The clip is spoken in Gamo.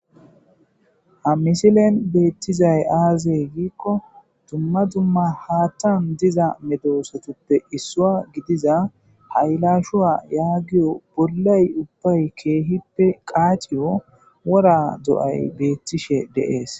Ha misilen beettizay aazey giikko dumma dumma haattan diza medowosotuppe issua gidiza haylashuwa yaagiyo bollay ubbay keehippe qaaciyo wora do'ay beettishe deees.